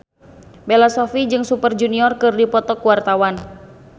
Bella Shofie jeung Super Junior keur dipoto ku wartawan